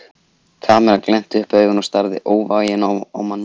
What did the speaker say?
Kamilla glennti upp augun og starði óvægin á manninn.